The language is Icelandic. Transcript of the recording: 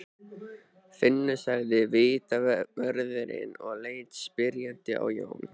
Finnur sagði vitavörðurinn og leit spyrjandi á Jón.